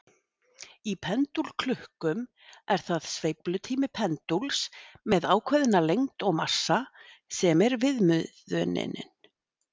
Í pendúlklukkum er það sveiflutími pendúls með ákveðna lengd og massa sem er viðmiðunin.